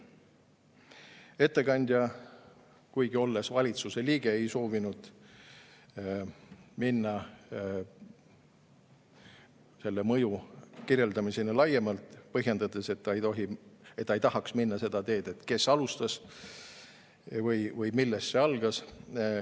Ettekandja, kuigi olles valitsuse liige, ei soovinud minna selle mõju kirjeldamiseni laiemalt, põhjendades, et ta ei tohi ega taha minna seda teed, et, kes alustas või millest see algas.